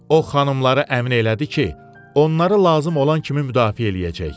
O xanımları əmin elədi ki, onları lazım olan kimi müdafiə eləyəcək.